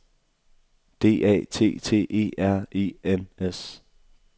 D A T T E R E N S